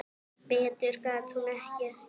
Betur gat hún ekki gert.